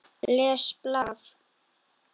Les blað.